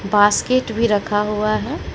Basket भी रखा हुआ है।